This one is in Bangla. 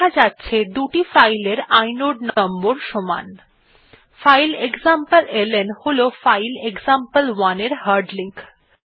দেখা যাচ্ছে দুটি ফাইল এর ইনোড নম্বর সমান ফাইল এক্সামপ্লেলন হল ফাইল এক্সাম্পল1 এর হার্ড লিঙ্ক